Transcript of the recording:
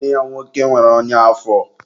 nwanne ya nwoke nwere ọnya afọ.